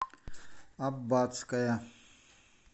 аббатское